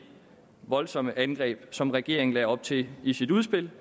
voldsomme angreb som regeringen lagde op til i sit udspil